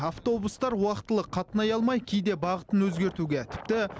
автобустар уақытылы қатынай алмай кейде бағытын өзгертуге тіпті